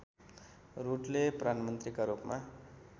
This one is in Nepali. रूडले प्रधानमन्त्रीका रूपमा